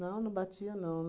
Não, não batia, não.